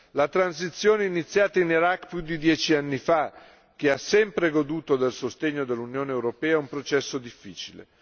La transizione iniziata in Iraq più di dieci anni fa, che ha sempre goduto del sostegno dell'Unione europea, è un processo difficile.